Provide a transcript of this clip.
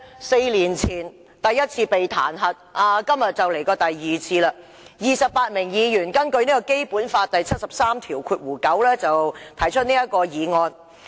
四年前，第一次被彈劾，今天已是第二次 ，28 名議員根據《基本法》第七十三條第九項提出議案。